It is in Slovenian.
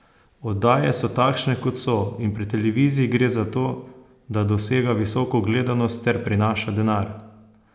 Oddaje so takšne, kot so, in pri televiziji gre za to, da dosega visoko gledanost ter prinaša denar.